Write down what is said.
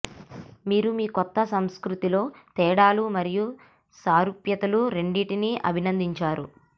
మీరు మీ కొత్త సంస్కృతిలో తేడాలు మరియు సారూప్యతలు రెండింటినీ అభినందించారు